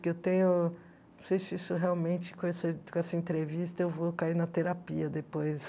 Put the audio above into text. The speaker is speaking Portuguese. Que eu tenho não sei se isso realmente com esse com essa entrevista eu vou cair na terapia depois.